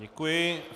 Děkuji.